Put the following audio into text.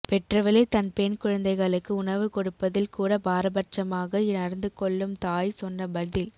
பெற்றவளே தன் பெண் குழந்தைகளுக்கு உணவு கொடுப்பதில் கூட பாரபட்சமாக நடந்து கொள்ளும் தாய் சொன்ன பதில்